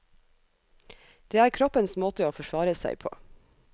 Det er kroppens måte å forsvare seg på.